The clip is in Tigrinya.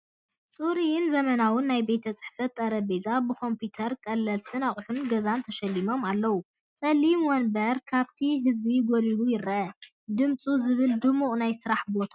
ጽሩይን ዘመናውን ናይ ቤት ጽሕፈት ጠረጴዛ ብኮምፒተርን ቀለልቲ ኣቑሑት ገዛን ተሸሊሙ ኣሎ፤ ጸሊም መንበር ካብቲ ህዝቢ ጐሊሑ ይርአ- ጽምው ዝበለን ድሙቕን ናይ ስራሕ ቦታ።